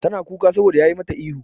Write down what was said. Tana kuka saboda yayi mata ihu.